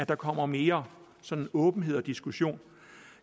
der kommer mere åbenhed og diskussion